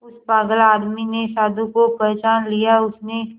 उस पागल आदमी ने साधु को पहचान लिया उसने